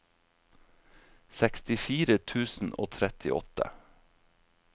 sekstifire tusen og trettiåtte